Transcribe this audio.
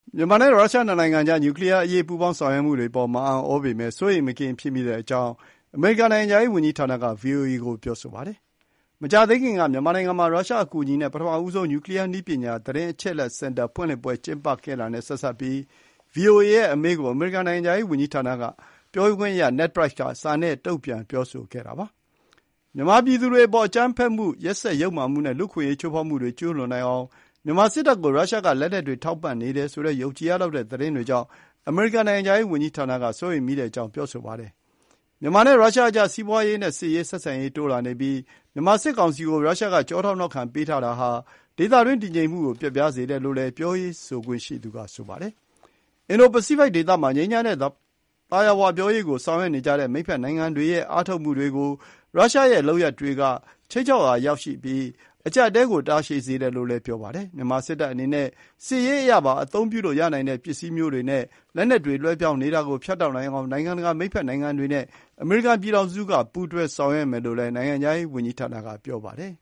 မြန်မာနဲ့ ရုရှားနှစ်နိုင်ငံအကြား နျုကလီးယားအရေး ပူးပေါင်းဆောင်ရွက်မှုတွေအပေါ် မအံ့သြပမေယ့် စိုးရိမ်မကင်း ဖြစ်မိတဲအ့ကြောင်း အမေရိကန်နိုင်ငံခြားရေးဝန်ကြီးဌာနက ဗွီအိုအေကို ပြောဆိုပါတယ်။ မကြာသေးခင်က မြန်မာနိုင်ငံမှာ ရုရှားအကူအညီနဲ့ ပထမဦးဆုံး နျူကလီးယားနည်းပညာ သတင်းအချက်အလက်စင်တာ ဖွင့်လှစ်ပွဲ ကျင်းပခဲ့တာနဲ့ ဆက်စပ်ပြီး ဗွီအိုအေရဲ့ အမေးကို အမေရိကန်နိုင်ငံခြားရေး ဝန်ကြီးဌာန ပြောခွင့်ရ Ned Price က စာနဲ့ တုံ့ပြန်ပြောဆိုတာပါ။ မြန်မာပြည်သူတွေအပေါ် အကြမ်းဖက်မှု၊ ရက်စက် ယုတ်မာမှုနဲ့ လူ့အခွင့်အရေး ချိုးဖောက်မှုတွေ ကျူးလွန်နိုင်အောင် မြန်မာစစ်တပ်ကို ရုရှားက လက်နက်တွေ ထောက်ပံ့နေတယ်ဆိုတဲ့ ယုံကြည်ရလောက်တဲ့ သတင်းတွေကြောင့် အမေရိကန် နိုင်ငံခြားရေးဝန်ကြီးဌာနက စိုးရိမ်မိတဲ့အကြောင်း ပြေဆိုပါတယ်။ မြန်မာနဲ့ ရုရှားအကြား စီးပွားရေးနဲ့စစ်ရေး ဆက်ဆံရေး တိုးလာနေပြီး မြန်မာ စစ်ကောင်စီကို ရုရှားက ကျောထောက်နောက်ခံ ပေးထားတာဟာ ဒေသတွင်း တည်ငြိမ်မှုကို ပျက်ပြားစေတယ်လို့လည်း ပြောရေးဆိုခွင့်ရှိသူက ဆိုပါတယ်။ အင်ဒိုပစိဖိတ်ဒေသမှာ ငြိမ်းချမ်းတဲ့ သာယာဝပြောရေးကို ဆောင်ရွက်နေကြတဲ့ မိတ်ဘက်နိုင်ငံတွေရဲ့ အားထုတ်မှုတွေကို ရုရှားရဲ့ လုပ်ရပ်တွေက ခြိမ်းခြောက်ရာရောက်ပြီး၊ အကျပ်အတည်းကို တာရှည်စေတယ်လို့လည်း ပြောပါတယ်။ မြန်မာစစ်တပ်အနေနဲ့ စစ်ရေးအရပါ အသုံးပြုလို့ ရနိုင်တဲ့ ပစ္စည်းမျိုးတွေနဲ့ လက်နက်တွေ လွှဲပြောင်းနေတာကို ဖြတ်တောက်နိုင်အောင် နိုင်ငံတကာ မိတ်ဘက် နိုင်ငံတွေနဲ့ အမေရိကန်ပြည်ထောင်စုက ပူးတွဲဆောင်ရွက်မယ်လို့လည်း နိုင်ငံခြားရေး ဝန်ကြီးဌာနက ပြောပါတယ်